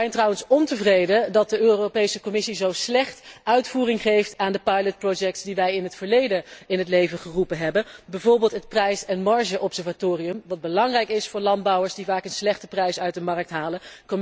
Wij zijn trouwens ontevreden dat de Europese Commissie zo slecht uitvoering geeft aan de proefprojecten die wij in het verleden in het leven geroepen hebben, bijvoorbeeld het prijs en margeobservatorium dat belangrijk is voor landbouwers die vaak een slechte prijs uit de markt halen.